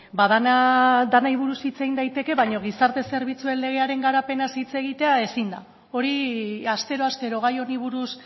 ba denari buruzko hitz egin daiteke baina gizarte zerbitzuen legaren garapenaz hitz egitea ezin da hori astero astero gai honi buruz